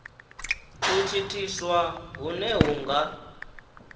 u thithiswa hune hu nga